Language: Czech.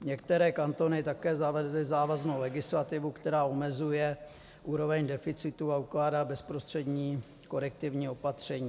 Některé kantony také zavedly závaznou legislativu, která omezuje úroveň deficitu a ukládá bezprostřední korektivní opatření.